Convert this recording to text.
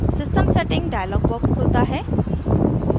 system settings dialog box खुलता है